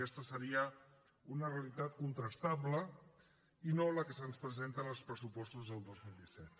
aquesta seria una realitat contrastable i no la que se’ns presenta en els pressupostos del dos mil disset